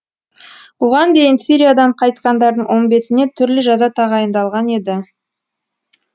бұған дейін сириядан қайтқандардың он бесіне түрлі жаза тағайындалған еді